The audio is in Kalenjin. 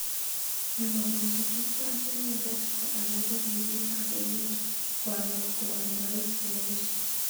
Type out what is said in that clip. Kimwa kole chetubjo ak inendet ko alake ribik ab emet ko alak ko aldaik cheech.